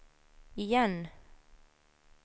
igen